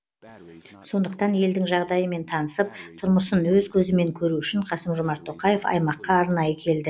сондықтан елдің жағдайымен танысып тұрмысын өз көзімен көру үшін қасым жомарт тоқаев аймаққа арнайы келді